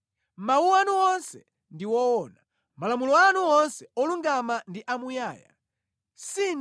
Mawu anu onse ndi owona; malamulo anu onse olungama ndi amuyaya.